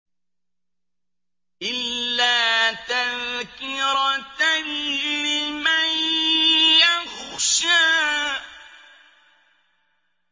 إِلَّا تَذْكِرَةً لِّمَن يَخْشَىٰ